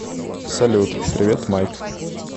салют привет майк